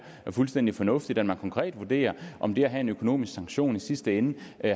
fuldstændig fornuftigt at man konkret vurderer om det at have en økonomisk sanktion i sidste ende